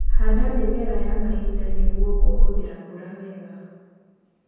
Handa mĩmera ya mahinda nĩguo kũhũthĩra mbura wega.